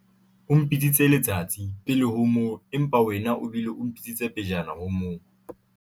o mpitsitse letsatsi pele ho moo empa wena o bile o mpitsitse pejana ho moo